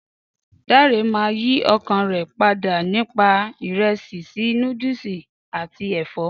Dare máa yìí ọkàn rè padà nípa ìresì síí noodlesi àti èfọ́.